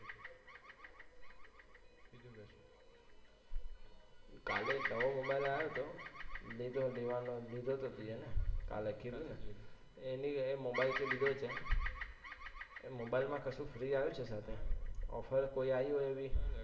કાલે નવો મોબાઈલ આવ્યોતો લીધોતો હેને કાલે કીધુને, એને એ મોબાઈલ થી લીધો છે, મોબાઈલ માં કશું free આવ્યુ છે સાથે?